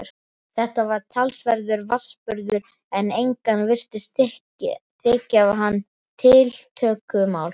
Þetta var talsverður vatnsburður en engum virtist þykja hann tiltökumál.